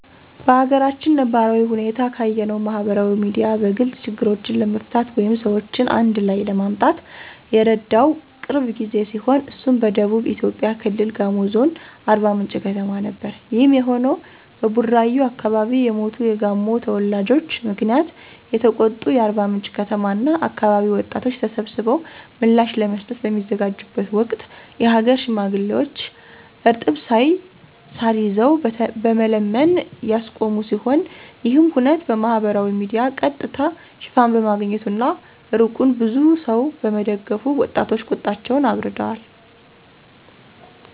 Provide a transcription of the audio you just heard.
በአገራችን ነባራዊ ሁኔታ ካየነው ማህበራዊ ሚዲያ በግልጽ ችግሮችን ለመፍታት ወይም ሰዎችን አንድላይ ለማምጣት የረዳው ቅርብ ጊዜ ሲሆን እሱም በደቡብ ኢትዮጵያ ክልል ጋሞ ዞን አርባምንጭ ከተማ ነበር። ይሄም የሆነው በቡራዩ አከባቢ የሞቱ የጋሞ ተወላጆች ምክንያት የተቆጡ የአርባምንጭ ከተማ እና አከባቢ ወጣቶች ተሰብስበው ምላሽ ለመስጠት በሚዘጋጁበት ወቅት የሀገር ሽማግሌዎች እርጥብ ሳር ይዘው በመለመን ያስቆሙ ሲሆን ይሄም ሁነት በማህበራዊ ሚዲያ ቀጥታ ሽፋን በማግኘቱ እና እርቁን ብዙ ሰው በመደገፉ ወጣቶች ቁጣቸውን አብርደዋል።